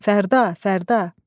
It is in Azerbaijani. Fərda, Fərda.